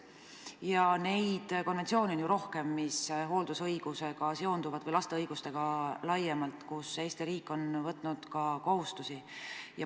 Ja neid konventsioone on rohkemgi, mis käsitlevad hooldusõigusega või laste õigustega laiemalt seotud teemasid, ja ka Eesti riik on võtnud sellekohaseid kohustusi.